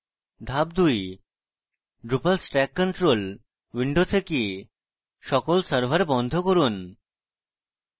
ধাপ 2: drupal stack control window থেকে সকল সার্ভার বন্ধ করুন